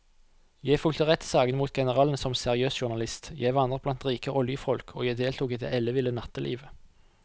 Jeg fulgte rettssakene mot generalene som seriøs journalist, jeg vandret blant rike oljefolk og jeg deltok i det elleville nattelivet.